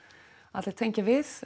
allir tengja við